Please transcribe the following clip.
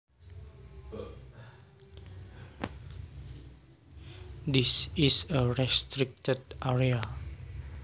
This is a restricted area